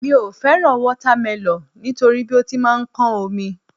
Mi ò fẹ́ràn wátámẹlọ̀ nítorí bí ó ti máa ń kán omi